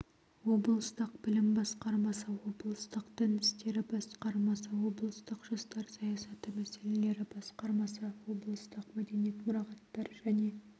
облыстық білім басқармасы облыстық дін істері басқармасы облыстық жастар саясаты мәселелері басқармасы облыстық мәдениет мұрағаттар және